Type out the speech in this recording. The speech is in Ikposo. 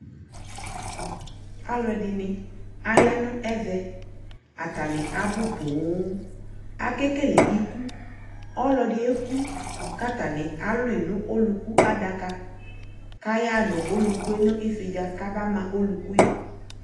alʋɛdini ayanʋ ɛvɛ atani abʋ pɔɔm, akɛkɛlɛ ikʋ, ɔlɔdi ɛkʋ kʋ atani alʋi nʋ ɔlʋkʋ adaka kʋ ayanʋ ɔlʋkʋɛ nʋ ifidza kaba ma ɔlʋkʋɛ